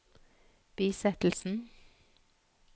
bisettelsen